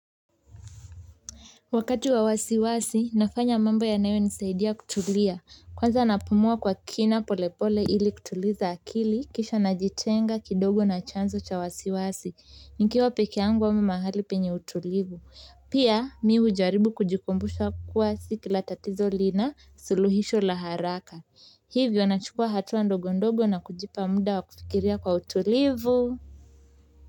Wakati wa wasiwasi, nafanya mambo yanayo nisaidia kutulia, kwanza napumua kwa kina pole pole ili kutuliza akili, kisha najitenga kidogo na chanzo cha wasiwasi, nikiwa pekee yangu ama mahali penye utulivu. Pia, mimu hujaribu kujikumbusha kuwa si kila tatizo lina suluhisho la haraka. Hivyo nachukua hatua ndogo ndogo na kujipa muda wa kufikiria kwa utulivu.